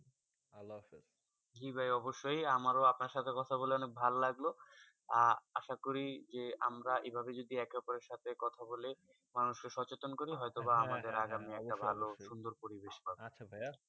আল্লাহ হাফিজ জি ভাই আমরাও আপনা সাথে কথা বলে ভালো লাগলো আসা করি আমরা যেই ভাবে যদি কথা বলি মানুষের সাতজন করি হয়ে বা হেঁ হেঁ অবশ্য সুন্দর পরিবেশ পাবে আচ্ছা ভাই হেঁ